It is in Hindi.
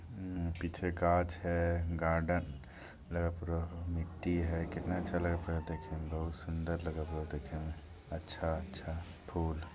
उम पीछे काछ है गार्डन है पूरा मट्टी है कितना अच्छा लग देखने मे बहुत सुंदर लग रहा है अच्छा-अच्छा फूल।